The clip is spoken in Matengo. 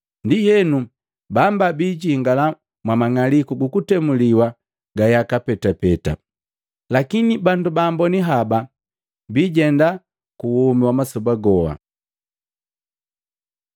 Ndienu bamba biijingala mwa mang'aliku gukutemuliwa ga yaka petapeta, lakini bandu baamboni haba bijenda kuwomi wa masoba goha.”